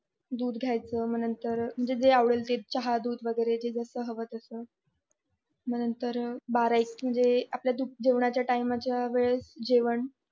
दूध घ्यायचं नंतर जे आवडेलते चहा दूध वैगेरे जे जास्त हवं तस मग नंतर बारा एक म्हणजे आपल्या जेवणाच्या टाइम च्या वेळेस जेवण